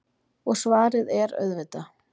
Og svarið er auðvitað